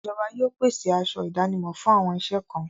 Ìjọba yóò pèsè aṣọ ìdánimọ̀ fún àwọn iṣẹ́ kan.